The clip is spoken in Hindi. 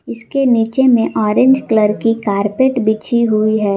इसके नीचे में ऑरेंज कलर की कारपेट बिछी हुई है।